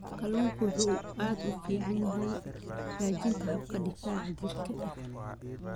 Kalluunku wuxuu aad ugu fiican yahay hagaajinta habka difaaca jirka.